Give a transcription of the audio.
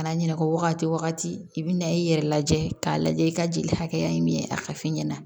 Kana ɲinɛ o wagati wagati i bi na i yɛrɛ lajɛ k'a lajɛ i ka jeli hakɛya ye min ye a ka f'i ɲɛna